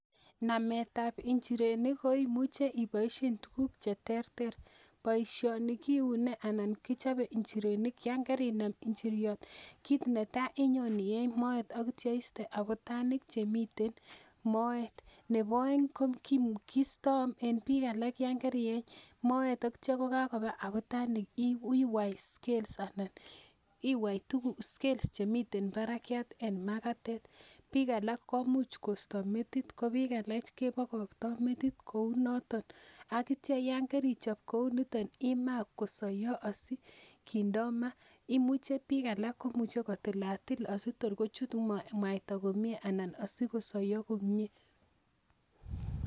Nametab njirenik koimuche iboisien tuguk cheterter boisioni kiune ana kichobe njirenik yan kerinam njiryot kit netaa inyon ieny moet ak itya istee abutanik chemiten moet nebo oeng kistoo en biik alak yan kerieny moet ak itya kakoba abutanik iwai scales anan iwai scales chemiten barak en makatet biik alak komuch kosto metit ko biik alak kebokoktoo metit kounoton ak itya yan kerichop kouniton imaa kosoiyo asikindoo maa imuche biik alak kotilatil asitor kochut mwaita komie ana asikosoiyo komie